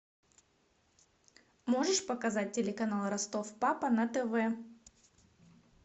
можешь показать телеканал ростов папа на тв